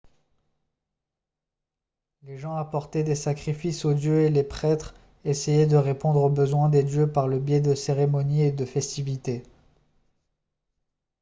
les gens apportaient des sacrifices aux dieux et les prêtres essayaient de répondre aux besoins des dieux par le biais de cérémonies et de festivités